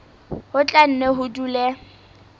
ho tla nne ho dule